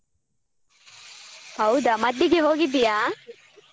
ಹೌದಾ ಮದ್ದಿಗೆ ಹೋಗಿದ್ಯಾ?